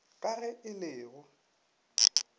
ka ge e le go